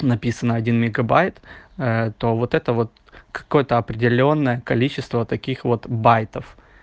написано один мегабайт то вот это вот какое-то определённое количество таких вот байтов